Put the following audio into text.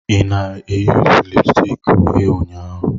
Ị na-eyuzu lipusticki uhie ụnyaahụ?